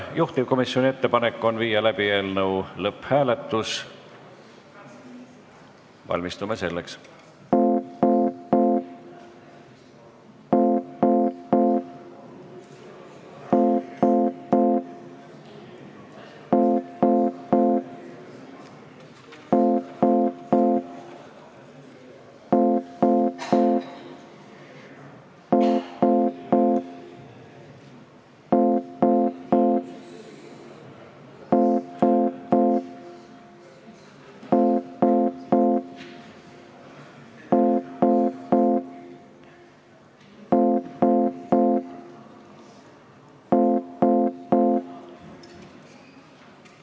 Juhtivkomisjoni ettepanek on panna eelnõu lõpphääletusele, valmistume selleks.